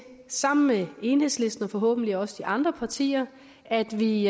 sammen med enhedslisten og forhåbentlig også de andre partier at vi